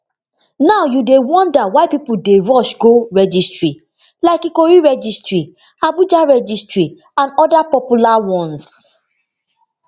now you dey wonder why pipo dey dey rush go registry like ikoyi registry abuja registry and oda popular ones